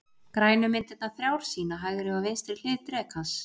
Grænu myndirnar þrjár sýna hægri og vinstri hlið drekans.